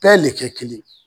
Bɛɛ le kɛ kelen ye